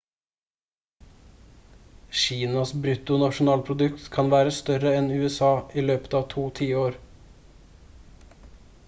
kinas brutto nasjonalprodukt kan være større enn usa i løpet av to tiår